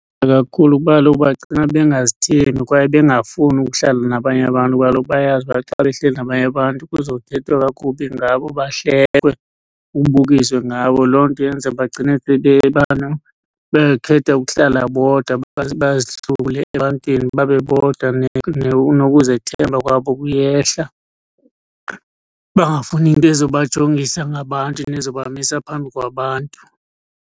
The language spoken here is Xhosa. Ewe kakhulu kuba kaloku bagcina bengazithembi kwaye bengafuni ukuhlala nabanye abantu kuba kaloku bayayazi uba xa behleli nabanye abantu kuzothethwa kakubi ngabo, bahlekwe, kubukiswe ngabo. Loo nto yenza bagcine bekhetha ukuhlala bodwa, bazihlule ebantwini babe bodwa. Nokuzethemba kwabo kuyehla, bangafuni nto ezobajongisa ngabantu nezobahambisa phambi kwabantu.